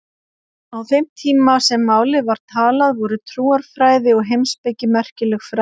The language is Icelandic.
Á þeim tíma sem málið var talað voru trúarfræði og heimspeki merkileg fræði.